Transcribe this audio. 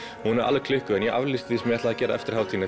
hún er alveg klikkuð en ég aflýsti því ég ætlaði að gera eftir hana